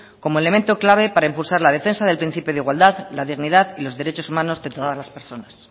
como elemento clave para impulsar la defensa del principio de igualdad la dignidad y los derechos humanos de todas las personas